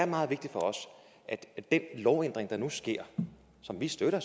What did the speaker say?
meget vigtigt for os at den lovændring der nu sker som vi støtter